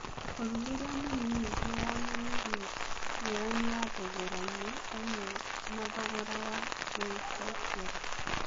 ũthuthuria mũnini nĩwonanirie ngũrani ya thogorainĩ ũmwe na thogora wa gũĩcokera.